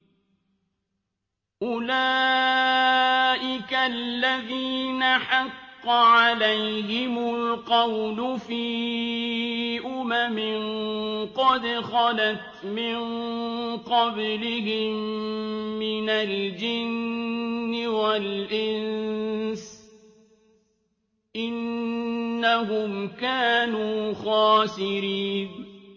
أُولَٰئِكَ الَّذِينَ حَقَّ عَلَيْهِمُ الْقَوْلُ فِي أُمَمٍ قَدْ خَلَتْ مِن قَبْلِهِم مِّنَ الْجِنِّ وَالْإِنسِ ۖ إِنَّهُمْ كَانُوا خَاسِرِينَ